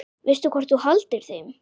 Veistu hvort þú haldir þeim?